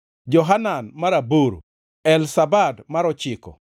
Johanan mar aboro, Elzabad mar ochiko,